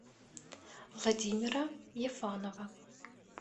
владимира ефанова